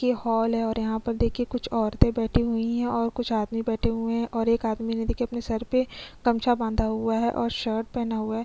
ये हॉल है और यहाँ पर देखिये कुछ औरते बैठी हुई है और कुछ आदमी बैठे हुए है और एक आदमी ने देखिये अपने सर पे गमछा बंधा हुआ है और शर्ट पेहना हुआ है।